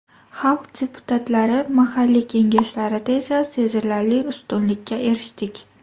Xalq deputatlari mahalliy Kengashlarida esa sezilarli ustunlikka erishdik.